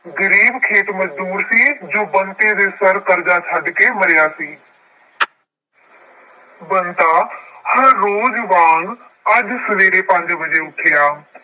ਗਰੀਬ ਖੇਤ ਮਜ਼ਦੂਰ ਸੀ ਜੋ ਬੰਤੇ ਦੇ ਸਿਰ ਕਰਜ਼ਾ ਛੱਡ ਕੇ ਮਰਿਆ ਸੀ। ਬੰਤਾ ਹਰ ਰੋਜ਼ ਵਾਂਗ ਅੱਜ ਸਵੇਰੇ ਪੰਜ ਵਜੇ ਉੱਠਿਆ।